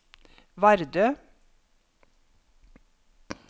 Vardø